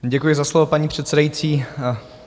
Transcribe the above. Děkuji za slovo, paní předsedající.